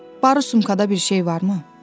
Barı sumkada bir şey varmı?